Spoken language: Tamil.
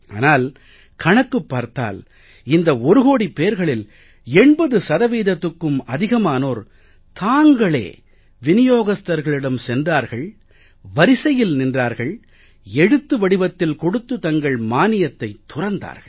ஆனால் கணக்குப் பார்த்தால் இந்த ஒரு கோடிப் பேர்களில் 80 சதவீதத்துகும் அதிகமானோர் தாங்களே விநியோகஸ்தர்களிடம் சென்றார்கள் வரிசையில் நின்றார்கள் எழுத்து வடிவத்தில் கொடுத்து தங்கள் மானியத்தைத் துறந்தார்கள்